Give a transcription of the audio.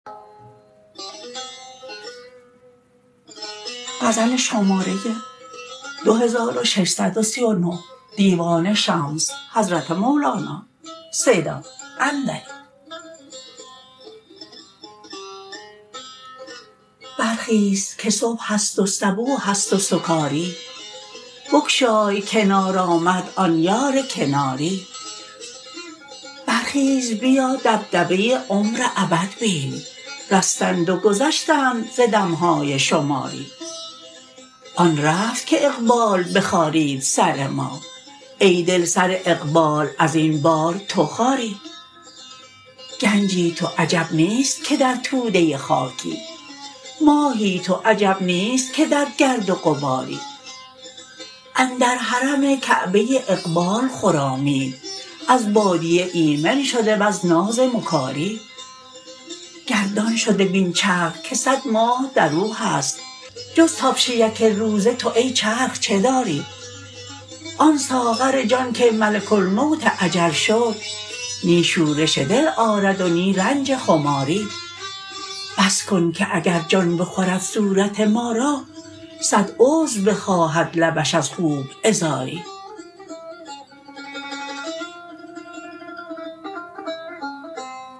برخیز که صبح است و صبوح است و سکاری بگشای کنار آمد آن یار کناری برخیز بیا دبدبه عمر ابد بین رستند و گذشتند ز دم های شماری آن رفت که اقبال بخارید سر ما ای دل سر اقبال از این بار تو خاری گنجی تو عجب نیست که در توده خاکی ماهی تو عجب نیست که در گرد و غباری اندر حرم کعبه اقبال خرامید از بادیه ایمن شده وز ناز مکاری گردان شده بین چرخ که صد ماه در او هست جز تابش یک روزه تو ای چرخ چه داری آن ساغر جان که ملک الموت اجل شد نی شورش دل آرد و نی رنج خماری بس کن که اگر جان بخورد صورت ما را صد عذر بخواهد لبش از خوب عذاری